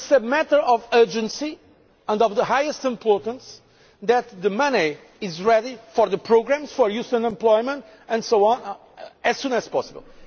So it is a matter of urgency and of the highest importance that the money is ready for the programmes for youth unemployment and so on as soon as possible.